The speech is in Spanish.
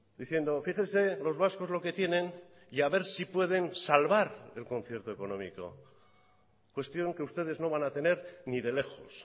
diciendo fíjese los vascos lo que tienen y a ver si pueden salvar el concierto económico cuestión que ustedes no van a tener ni de lejos